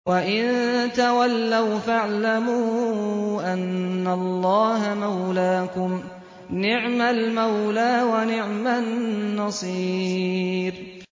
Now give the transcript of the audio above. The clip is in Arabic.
وَإِن تَوَلَّوْا فَاعْلَمُوا أَنَّ اللَّهَ مَوْلَاكُمْ ۚ نِعْمَ الْمَوْلَىٰ وَنِعْمَ النَّصِيرُ